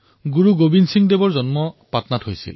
গুৰু গোৱিন্দ সিঙৰ জন্ম পাটনাত হৈছিল